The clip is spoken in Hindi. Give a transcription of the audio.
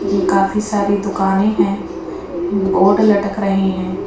काफी सारे दुकाने है बोर्ड लटक रहे है।